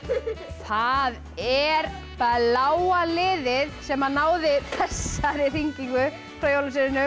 það er bláa liðið sem náði þessari hringingu frá jólasveininum